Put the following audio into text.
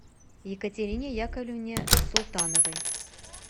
екатерине яковлевне султановой